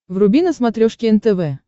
вруби на смотрешке нтв